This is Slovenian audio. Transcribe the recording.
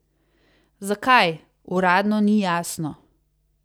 Zakaj, uradno ni jasno.